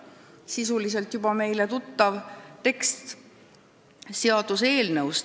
" Sisuliselt juba meile tuttav tekst seaduseelnõust.